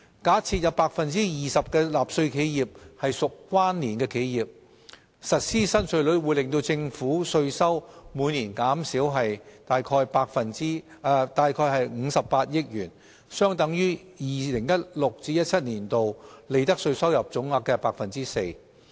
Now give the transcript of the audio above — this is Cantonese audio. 假設有 20% 的納稅企業屬關連企業，實施新稅率會令政府稅收每年減少約58億元，相等於 2016-2017 年度利得稅收入總額 4%。